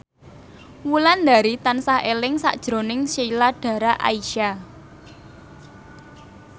Wulandari tansah eling sakjroning Sheila Dara Aisha